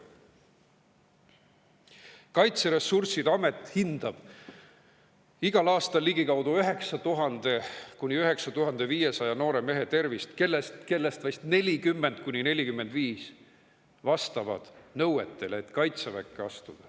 Kaitseressursside Amet hindab igal aastal 9000–9500 noore mehe tervist, kellest vast 40–45 vastavad nõuetele, et kaitseväkke astuda.